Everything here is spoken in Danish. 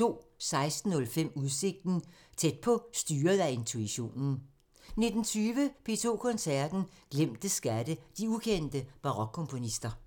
16:05: Udsigten – Tæt på: styret af intuitionen 19:20: P2 Koncerten – Glemte skatte – de ukendte barokkomponister